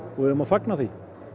við eigum að fagna því